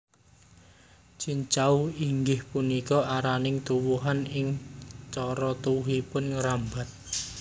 Cincau inggih punika araning tuwuhan ingkang cara tuwuhipun ngrambat